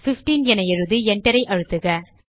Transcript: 15 என எழுதி enter ஐ அழுத்தக